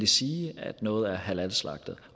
sige at noget er halalslagtet